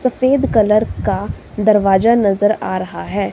सफेद कलर का दरवाजा नजर आ रहा है।